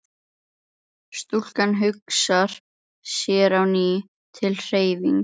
Stúlkan hugsar sér á ný til hreyfings.